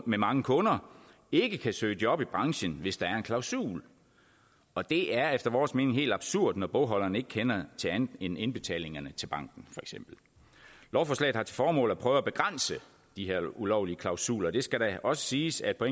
med mange kunder ikke kan søge job i branchen hvis der er en klausul og det er efter vores mening helt absurd når bogholderen ikke kender til andet end indbetalingerne til banken lovforslaget har til formål at prøve at begrænse de her ulovlige klausuler og det skal da også siges at på